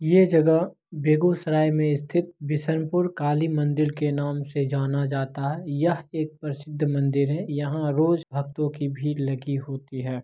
ये जगह बेगूसराय में स्थित बिशनपुर काली मंदिर के नाम से जाना जाता है यह एक प्रसिद्ध मंदिर है यहां रोज भक्तों की भीड़ लगी होती है।